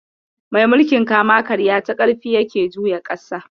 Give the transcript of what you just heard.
Mai mulkin kama karya ta karfi yake juya ƙasa.